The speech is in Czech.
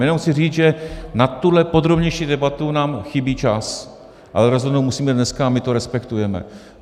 Jenom chci říct, že na tuhle podrobnější debatu nám chybí čas, ale rozhodnout musíme dneska a my to respektujeme.